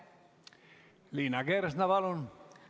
Liina Kersna, palun!